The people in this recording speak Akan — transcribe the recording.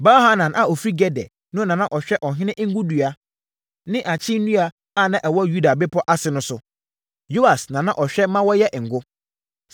Baal-Hanan a ɔfiri Geder no na na ɔhwɛ ɔhene ngo nnua ne akyee nnua a na ɛwɔ Yuda bepɔ ase no so. Yoas na na ɔhwɛ ma wɔyɛ ngo.